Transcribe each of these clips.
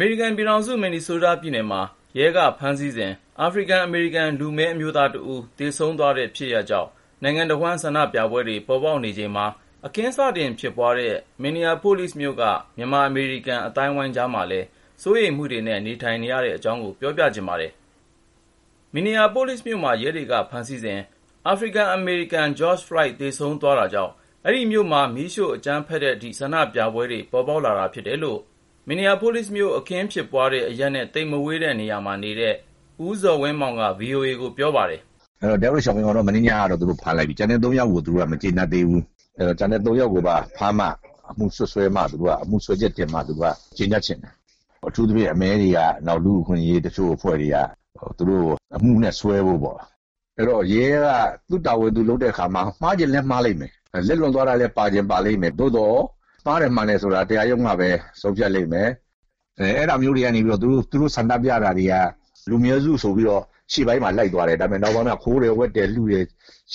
မေရိကန်ပြည်ထောင်စု Minnesota ပြည်နယ်မှာ ရဲက ဖမ်းဆီးစဉ် အာဖရိကန်- အမေရိကန် လူမည်းအမျိုးသားတဦး သေဆုံးသွားတဲ့ ဖြစ်ရပ်ကြောင့် နိုင်ငံတဝန်း ဆန္ဒပြပွဲတွေ ပေါ်ပေါက်နေချိန်မှာ အခင်းစတင်ဖြစ်ပွားတဲ့ Minneapolis မြို့က မြန်မာ-အမေရိကန် အသိုင်းအဝိုင်းကြားမှာလည်း စိုးရိမ်မှုတွေနဲ့ နေထိုင်နေကြရပါတယ်။ အပြည့်အစုံကို ကိုဉာဏ်ဝင်းအောင်က ဆက်သွယ်မေးမြန်း တင်ပြထားပါတယ်။ Minneapolis မြို့မှာ ရဲတွေက ဖမ်းဆီးစဉ် အာဖရိကန်-အမေရိကန် George Floyd သေဆုံးသွားတာကြောင့် အဲဒီမြို့မှာ မီးရှို့ အကြမ်းဖက်တဲ့အထိ ဆန္ဒပြပွဲတွေ ပေါ်လာတာဖြစ်တယ်လို့ Minneapolis မြို့ အခင်းဖြစ်ပွားတဲ့အရပ်နဲ့ သိပ်မဝေးတဲ့ နေရာမှာနေတဲ့ ဦးဇော်ဝင်းမောင်က ဗွီအိုအေကို ပြောပါတယ်။ “Chauvin ကိုတော့ မနေ့ညက ဖမ်းလိုက်ပြီ။ ကျန်တဲ့ ရဲ ၃ ယောက်ကို သူတို့က မကျေနပ်သေးဘူး။ အဲဒီ ကျန်တဲ့ ၃ ယောက်ကိုပါ ဖမ်းမှ၊ အမှုစွဲချက်တင်မှ သူတို့က ကျေနပ်ချင်တာ။ အထူးသဖြင့် အမည်းတွေနဲ့ တချို့ လူ့အခွင့်အရေး အဖွဲ့တွေက သူတို့ကို အမှုစွဲဖို့ပေါ့။ အဲဒီတော့ ရဲက သူ့တာဝန် သူလုပ်တဲ့အခါမှာ မှားချင်လည်း မှားလိမ့်မယ်။ လက်လွန်သွားတာလည်း ပါချင်ပါလိမ့်မယ်။ သို့သော် မှားတယ် မှန်တယ်ဆိုတာ တရားရုံးကပဲ ဆုံးဖြတ်လိမ့်မယ်။ သူတို့ ဆန္ဒပြတာတွေက လူနည်းစုအရေးအတွက် ဆိုပြီးတော့ ရှေ့ပိုင်းမှာ လိုက်ကြတယ်။ နောက်ပိုင်းကျတော့ ခိုးတာ လုတာ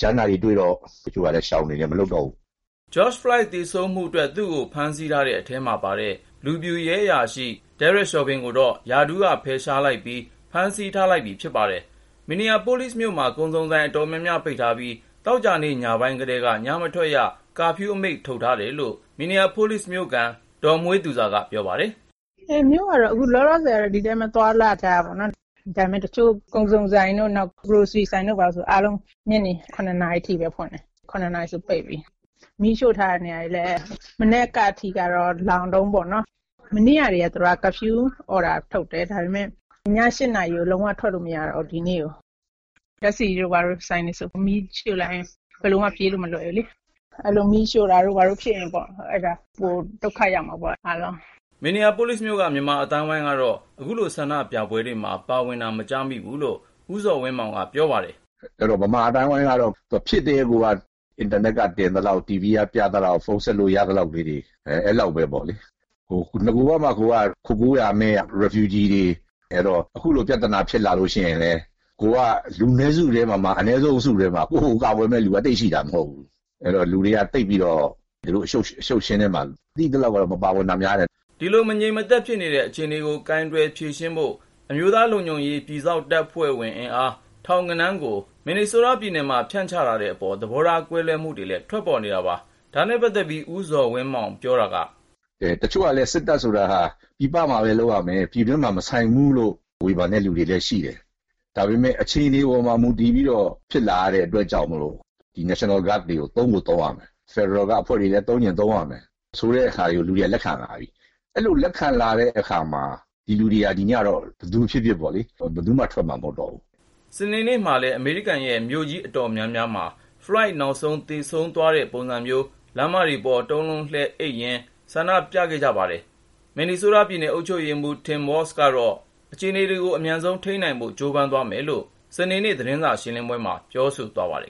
ကြမ်းတာတွေ တွေ့တော့ တချို့က ပြန်ရှောင်နေလိုက်တယ်၊ မလုပ်တော့ဘူး။” George Floyd သေဆုံးမှုအတွက် သူ့ကို ဖမ်းဆီးတဲ့အထဲမှာပါတဲ့ လူဖြူရဲအရာရှိ Derek Chauvin ကိုတော့ ရာထူးကဖယ်ရှားပြီး ဖမ်းဆီးထားလိုက်ပြီ ဖြစ်ပါတယ်။ Minneapolis မြို့မှာ ကုန်စုံဆိုင် အတော်များများ ပိတ်ထားပြီး သောကြာနေ့ ညပိုင်းကတည်းက ညမထွက်ရ ကာဖျူးအမိန့် ထုတ်ပြန်ထားတယ်လို့ Minneapolis မြို့ခံ ဒေါ်မွှေးသူဇာက ပြောပါတယ်။ “မြို့ကတော့ လောလောဆယ်မှာ ဒီတိုင်း သွားလာနေကြတာပေါ့နော်။ ဒါပေမယ့် တချို့ကုန်စုံဆိုင်တွေ ဘာတွေဆို အားလုံး ညနေ ၇ နာရီဆို ပိတ်ပြီ။ မီးရှို့ထားတဲ့ နေရာတွေလည်း မနက်ကထိ လောင်တုန်းပဲ။ သောကြာ မနေ့ကတည်းက ကာဖျူးအမိန့် ထုတ်တယ်။ ဒါပေမယ့် ဒီနေ့ည ၈ နာရီဆို လုံးဝ ထွက်လို့မရတော့ဘူး။ ဒီမှာ ဓာတ်ဆီဆိုင်တွေ ဘာတွေကို မီးရှို့လိုက်ရင် ဘယ်လိုမှ ပြေးလို့ မလွယ်ဘူးလေ။ အဲလို မီးရှို့တာတို့ ဘာတို့ ဖြစ်လာရင်ပေါ့။ အားလုံး ဒုက္ခရောက်မှာပေါ့။” Minneapolis မြို့က မြန်မာအသိုင်းအဝိုင်းကတော့ အခုလို ဆန္ဒပြပွဲတွေမှာ ပါဝင်တာ မကြားမိဘူးလို့ ဦးဇော်ဝင်းမောင်က ပြောပါတယ်။ “မြန်မာအသိုင်းအဝိုင်းကတော့ ဖြစ်ကတည်းကိုက အင်တာနက်က တင်သလောက်၊ TV က ပြသလောက်၊ ဖုန်းဆက်လို့ ရသလောက်တွေ၊ အဲလောက်ပဲပေါ့လေ။ နဂိုကမှ ကိုယ်တွေက ခိုကိုးရာမဲ့ ဒုက္ခသည်တွေဆိုတော့ အခုလို ပြဿနာဖြစ်လာလို့ ရှိရင်လည်း ကိုယ်က လူနည်းစုထဲမှာမှ အနည်းဆုံးအစုထဲမှာ ကိုယ့်ကိုကာကွယ်မယ့်သူက သိပ်ရှိတာ မဟုတ်ဘူး။ အဲဒီတော့ လူတွေက သိပ်ပြီးတော့ ဒီလို အရှုပ်အရှင်းထဲမှာ ကျနော်သိသလောက်တော့ မပါကြတာများတယ်။” ဒီလို မငြိမ်မသက်ဖြစ်နေတဲ့ အခြေအနေကို ကိုင်တွယ်ဖြေရှင်းဖို့ အမျိုးသားလုံခြုံရေး ပြည်စောင့်တပ်ဖွဲ့ဝင် အင်အား ထောင်ဂဏန်းကို Minnesota ပြည်နယ်မှာ ဖြန့်ချထားတဲ့အပေါ် သဘောထား ကွဲလွဲမှုတွေလည်း ထွက်ပေါ်နေတာပါ။ ဒါနဲ့ပတ်သက်လို့ ဦးဇော်ဝင်းမောင်က အခုလိုပြောပါတယ်။ “တချို့ကလည်း စစ်တပ်ဆိုတာ ပြည်ပမှာပဲ လုပ်ရမယ်၊ ပြည်တွင်းမှာ မဆိုင်ဘူးလို့ ဝေဖန်တဲ့လူတွေ ရှိတယ်။ ဒါပေမယ့် အခြေအနေပေါ် မူတည်ပြီးတော့ ဖြစ်လာရတဲ့ အတွက်ကြောင့်မိ့ု National Guard တွေကို သုံးကိုသုံးရမယ် ဆိုတာမျိုး၊ ဖက်ဒရယ်အဖွဲ့တွေလည်း သုံးချင်သုံးရမယ် ဆိုတာမျိုး ဆိုတဲ့ဟာကို လူတွေက လက်ခံလာကြတယ်။ အဲလို လက်ခံလာတဲ့အခါမှာ ပြည်သူတွေဟာ ဒီညတော့ ဘယ်သူဖြစ်ဖြစ်ပေါ့လေ ဘယ်သူမှ ထွက်မှာ မဟုတ်တော့ဘူး။” စနေနေ့မှာလည်း အမေရိကန်ရဲ့ မြို့ကြီး အတော်များများမှာ Floyd နောက်ဆုံး သေဆုံးသွားတဲ့ပုံစံမျိုး လမ်းမတွေပေါ် တုံးလုံးလှဲရင်း ဆန္ဒပြခဲ့ကြပါတယ်။ Minnesota ပြည်နယ် အုပ်ချုပ်ရေးမှူး Tim Walz ကတော့ အခြေအနေကို အမြန်ဆုံးထိန်းနိုင်ဖို့ ကြိုးပမ်းသွားမယ်လို့ စနေနေ့ သတင်းစာရှင်းပွဲမှာ ပြောဆိုသွားပါတယ်